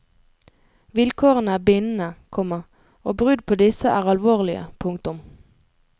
Vilkårene er bindende, komma og brudd på disse er alvorlige. punktum